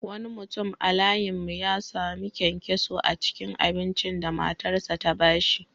Wani mutum a layin mu ya sami kyankyaso a cikin abincin da matarsa ​​ta ba shi.